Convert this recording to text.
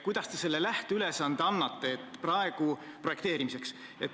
Missuguse lähteülesande te projekteerimiseks annate?